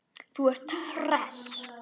Þú ert hress!